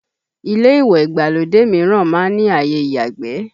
Ilé ìwẹ̀ ìgbàlódé mìíràn má ń ní àyè ìyàgbé